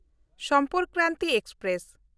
Sampark Kranti express